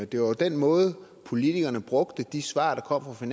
det var jo den måde politikerne brugte de svar der kom fra